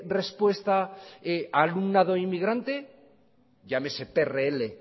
respuestas alumnado inmigrante llámese prl